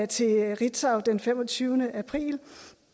til ritzau den femogtyvende april